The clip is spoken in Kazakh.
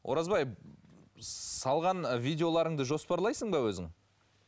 оразбай салған ы видеоларыңды жоспарлайсың ба өзің